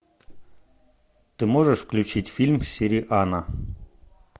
ты можешь включить фильм сириана